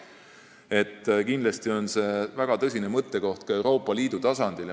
See on kindlasti väga tõsine mõttekoht ka Euroopa Liidu tasandil.